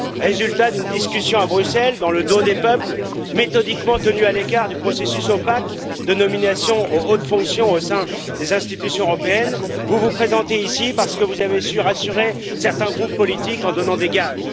Résultat d'une discussion à Bruxelles dans le dos des peuples, méthodiquement tenus à l'écart du processus opaque de nomination aux hautes fonctions au sein des institutions européennes, vous vous présentez ici parce que vous avez su rassurer certains groupes politiques en donnant des gages.